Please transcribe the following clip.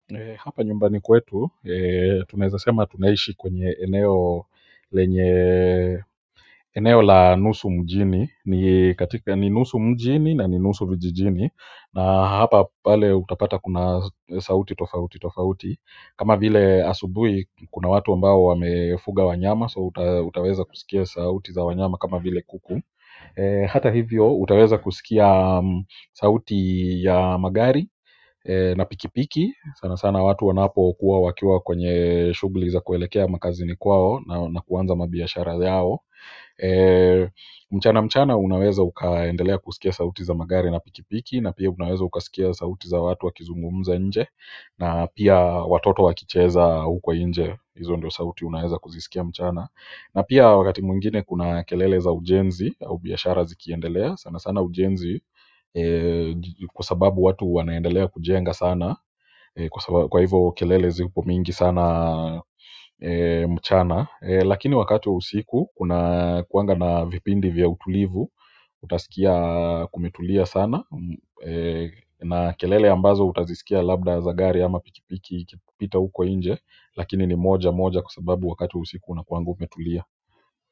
Hapa nyumbani kwetu, tunaezasema tunaishi kwenye eneo la nusu mjini. Ni nusu mjini na ni nusu kijijini na hapa pale utapata kuna sauti tofautitofauti. Kama vile asubuhi kuna watu ambao wamefuga wanyama so utaweza kusikia sauti za wanyama kama vile kuku hata hivyo, utaweza kusikia sauti ya magari na pikipiki sana sana watu wanapokuwa wakiwa kwenye shughuli za kuelekea makazini kwao na kuanza mabiashara yao mchana mchana unaweza ukaendelea kusikia sauti za magari na pikipiki na pia unaweza ukasikia sauti za watu wakizungumza nje na pia watoto wakicheza huko nje hizo ndio sauti unaweza kuzisikia mchana na pia wakati mwingine kuna kelele za ujenzi au biashara zikiendelea sana sana ujenzi kwa sababu watu wanaendelea kujenga sana. Kwa hivo kelele ziko mingi sana mchana. Lakini wakati wa usiku, kunakuwanga na vipindi vya utulivu. Utasikia kumetulia sana na kelele ambazo utazisikia labda za gari ama pikipiki ikipita huko nje lakini ni mojamoja kwa sababu wakati wa usiku unakuwanga umetulia.